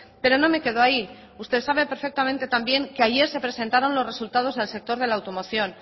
pero no me quedo ahí usted sabe perfectamente también que ayer se presentaron los resultados del sector de la automoción